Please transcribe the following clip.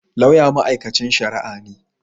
Lauya mai'aikancin sharia ne.